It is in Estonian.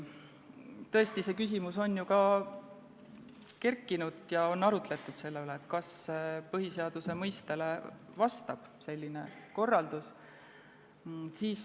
Tõesti, see küsimus on ju ka kerkinud ja on arutletud selle üle, kas selline korraldus vastab põhiseaduse mõttele.